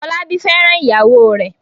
Fọlábí fẹ́ràn ìyàwó rẹ̀ m